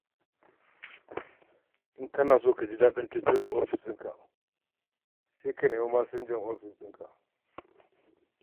In kana son jin daɗin tafiyar da ofishinka sai ka nemi taimakon masinjan ofis.